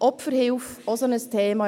Die Opferhilfe ist auch so ein Thema: